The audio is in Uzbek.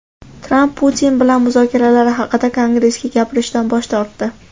Tramp Putin bilan muzokaralari haqida Kongressga gapirishdan bosh tortdi.